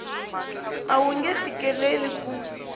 a wu nge fikeleli ku